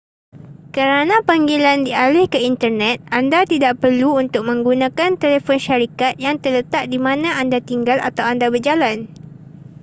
kerana panggilan dialih ke internet anda tidak perlu untuk menggunakan telefon syarikat yang terletak di mana anda tinggal atau anda berjalan